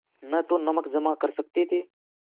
न तो नमक जमा कर सकते थे